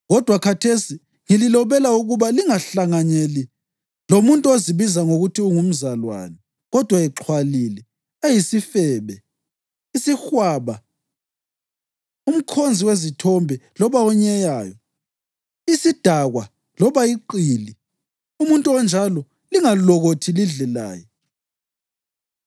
Kodwa khathesi ngililobela ukuba lingahlanganyeli lomuntu ozibiza ngokuthi ngumzalwane, kodwa exhwalile, eyisifebe, isihwaba, umkhonzi wezithombe loba onyeyayo, isidakwa loba iqili. Umuntu onjalo lingalokothi lidle laye.